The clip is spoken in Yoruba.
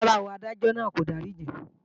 Rárá o, Adájọ́ náà kò dáríjì í